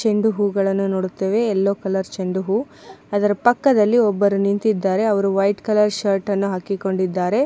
ಚಂಡು ಹೂಗಳನ್ನು ನೋಡುತ್ತೇವೆ ಎಲ್ಲೋ ಕಲರ್ ಚಂಡು ಹೂವು ಅದರ ಪಕ್ಕದಲ್ಲಿ ಒಬ್ಬರು ನಿಂತಿದ್ದಾರೆ ವೈಟ್ ಕಲರ್ ಶರ್ಟ್ ಅನ್ನು ಹಾಕಿಕೊಂಡಿದ್ದಾರೆ.